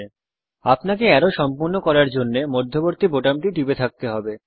মনে রাখবেন আপনাকে অ্যারো সম্পূর্ণ করার জন্যে মধ্যম বাটনটি টিপে থাকতে হবে